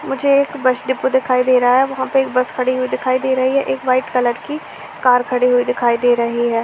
मुझे एक bus depot दिखाई दे रहा है। वहाँ पे एक बस खड़ी दिखाई दे रही है। एक वाइट कलर की कार खड़ी हुए दिखाई दे रही है।